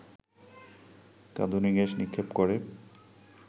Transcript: কাঁদুনে gas নিক্ষেপ করে